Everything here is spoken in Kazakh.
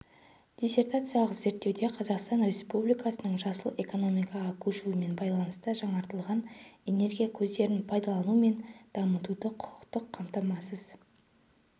диссертациялық зерттеуде қазақстан республикасының жасыл экономикаға көшуімен байланыста жаңартылатын энергия көздерін пайдалану мен дамытуды құқықтық қамтамасыз